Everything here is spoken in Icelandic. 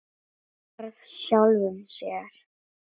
Hvarf sjálfum sér.